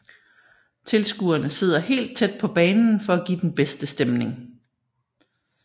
Tilskuerne sidder helt tæt på banen for at give den bedste stemning